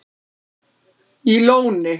í Lóni